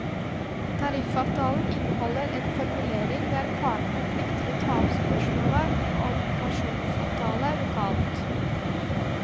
Tariffavtalen inneholder en formulering der partene plikter å ta opp spørsmålet om pensjonsavtale lokalt.